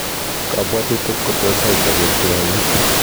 Kabwatutik kotos aii sabet koyait